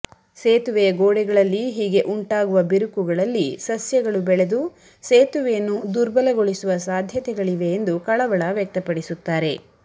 ಸೇತುವೆಯ ಗೋಡೆಗಳಲ್ಲಿ ಹೀಗೆ ಉಂಟಾಗುವ ಬಿರುಕುಗಳಲ್ಲಿ ಸಸ್ಯಗಳು ಬೆಳೆದು ಸೇತುವೆಯನ್ನು ದುರ್ಬಲಗೊಳಿಸುವ ಸಾಧ್ಯತೆಗಳಿವೆ ಎಂದು ಕಳವಳ ವ್ಯಕ್ತಪಡಿಸುತ್ತಾರೆ